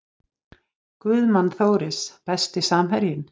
Guðmann Þóris Besti samherjinn?